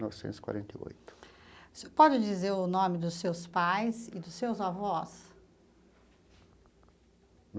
Novecentos e quarenta e oito. O senhor pode dizer o nome dos seus pais e dos seus avós?